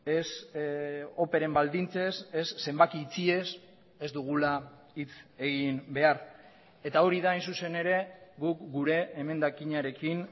ez operen baldintzez ez zenbaki itxiez ez dugula hitz egin behar eta hori da hain zuzen ere guk gure emendakinarekin